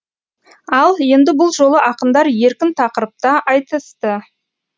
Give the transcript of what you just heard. ал енді бұл жолы ақындар еркін тақырыпта айтысты